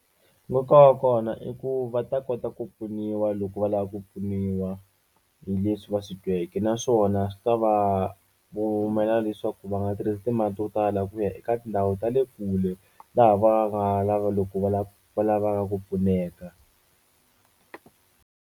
Nkoka wa kona i ku va ta kota ku pfuniwa loko va lava ku pfuniwa hi leswi va swi tweke naswona swi ta va humela leswaku va nga tirhisi timali to tala ku ya eka tindhawu ta le kule laha loko va lava va lavaka ku pfuneka.